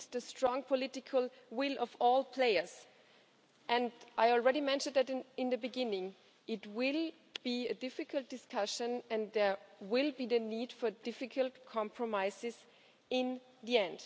We need the strong political will of all players. I already mentioned at the beginning it will be a difficult discussion, and there will be the need for difficult compromises in the end.